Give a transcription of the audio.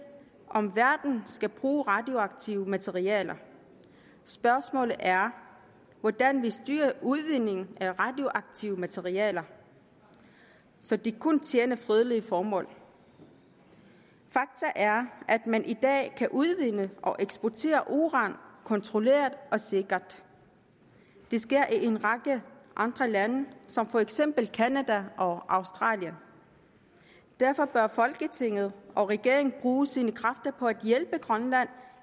om verden skal bruge radioaktive materialer spørgsmålet er hvordan vi styrer udvindingen af radioaktive materialer så de kun tjener fredelige formål fakta er at man i dag kan udvinde og eksportere uran kontrolleret og sikkert det sker i en række andre lande som for eksempel canada og australien derfor bør folketinget og regeringen bruge sine kræfter på at hjælpe grønland